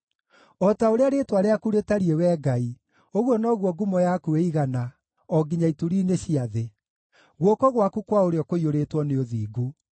O ta ũrĩa rĩĩtwa rĩaku rĩtariĩ, Wee Ngai, ũguo noguo ngumo yaku ĩigana o nginya ituri-inĩ cia thĩ; guoko gwaku kwa ũrĩo kũiyũrĩtwo nĩ ũthingu.